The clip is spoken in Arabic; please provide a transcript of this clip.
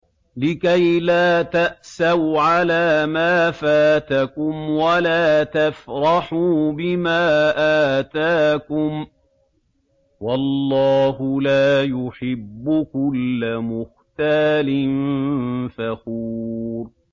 لِّكَيْلَا تَأْسَوْا عَلَىٰ مَا فَاتَكُمْ وَلَا تَفْرَحُوا بِمَا آتَاكُمْ ۗ وَاللَّهُ لَا يُحِبُّ كُلَّ مُخْتَالٍ فَخُورٍ